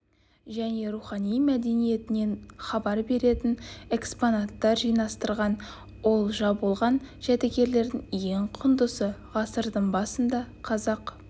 және рухани мәдениетінен хабар беретін экспонаттар жинастырған олжа болған жәдігерлердің ең құндысы ғасырдың басында қазақ